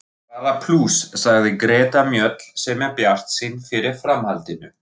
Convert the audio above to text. Bara plús, sagði Greta Mjöll sem er bjartsýn fyrir framhaldinu.